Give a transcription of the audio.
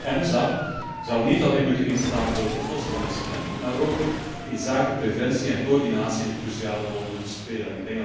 EMSA zou niet alleen moeten instaan voor het oplossen van incidenten, maar ook inzake preventie en coördinatie een cruciale rol moeten spelen.